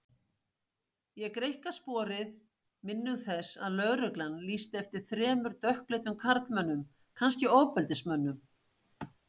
Ég greikka sporið, minnug þess að lögreglan lýsti eftir þremur dökkleitum karlmönnum, kannski ofbeldismönnum.